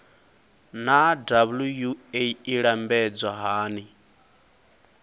naa wua i lambedzwa hani